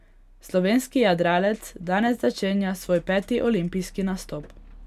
Slovenski jadralec danes začenja svoj peti olimpijski nastop.